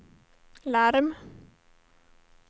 larm